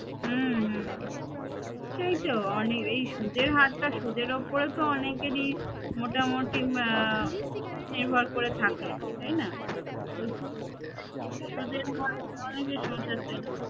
হম হম সেই তো অনির এই সুদের হারটা সুদের উপরেই তো অনেকেরই মোটামুটি নির্ভর করে থাকে তাই না সুদের হারটা অনেকের সংসার চলে